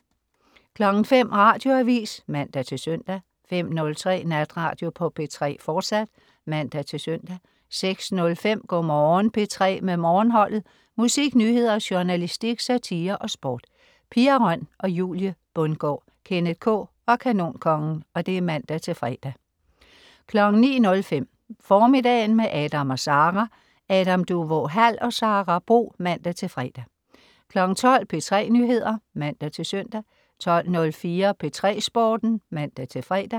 05.00 Radioavis (man-søn) 05.03 Natradio på P3, fortsat (man-søn) 06.05 Go' Morgen P3 med Morgenholdet. Musik, nyheder, journalistik, satire og sport. Pia Røn, Julie Bundgaard, Kenneth K og Kanonkongen (man-fre) 09.05 Formiddagen med Adam & Sara. Adam Duvå Hall og Sara Bro (man-fre) 12.00 P3 Nyheder (man-søn) 12.04 P3 Sporten (man-fre)